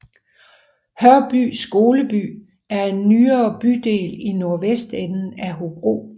Hørby Skoleby er en nyere bydel i nordvestenden af Hobro